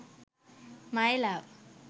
my love